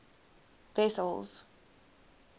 wessels